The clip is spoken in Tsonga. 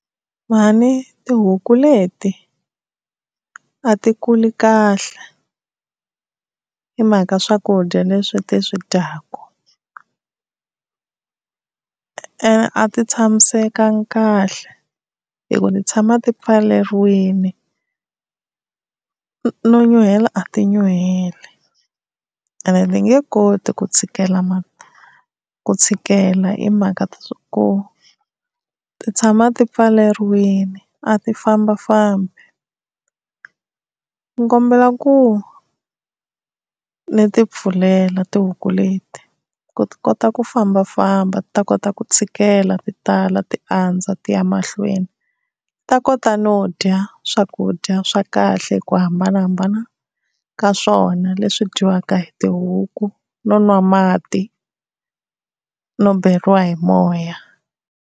Mhani tihuku leti a ti kuli kahle hi mhaka swakudya leswi ti swi dyaku, ene a ti tshamisekanga kahle hi ku ti tshama ti pfaleriwini no nyuhela a ti nyuheli, ene ti nge koti ku tshikela ku tshikela hi mhaka ku ti tshama ti pfaleriwini a ti fambafambi, ni kombela ku ni ti pfulela tihuku leti ku ti kota ku fambafamba ti ta kota ku tshikela ti tala ti andza ti ya mahlweni ti ta kota no dya swakudya swa kahle ku hambanahambana ka swona leswi dyiwaka hi tihuku no nwa mati no beriwa hi moya.